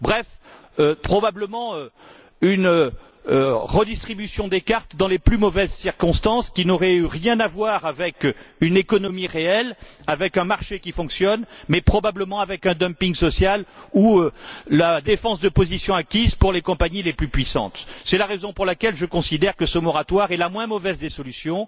Bref, cela aurait été probablement une redistribution des cartes dans les plus mauvaises circonstances qui n'aurait rien eu à voir avec une économie réelle, avec un marché qui fonctionne, mais aurait probablement relevé en revanche d'un dumping social ou de la défense de positions acquises pour les compagnies les plus puissantes. C'est la raison pour laquelle je considère que ce moratoire est la moins mauvaise des solutions,